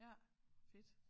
Ja fedt